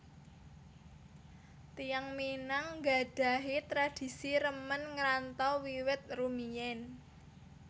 Tiyang Minang nggadhahi tradisi remen ngrantau wiwit rumiyin